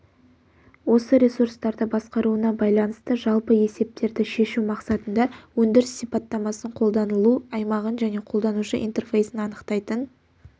осы ресурстарды басқаруына байланысты жалпы есептерді шешу мақсатында өндіріс сипаттамасын қолданылу аймағын және қолданушы интерфейсін анықтайтын